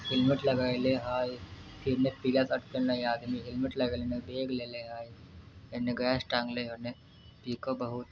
Helmet लगेले हेय पीला शर्ट पहने आदमी हेलमेट लगेनेबैग लेले हई। इने गैस टांगले उने टिको बहुत--